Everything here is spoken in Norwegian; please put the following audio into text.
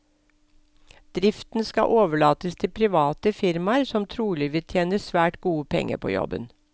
Driften skal overlates til private firmaer, som trolig vil tjene svært gode penger på jobben.